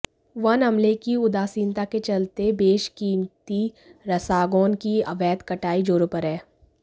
one अमले की उदासीनता के चलते बेशकीमती्रसागौन की अवैध कटाई जोरों पर है